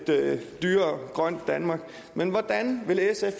dyrere grønt danmark men hvordan vil sf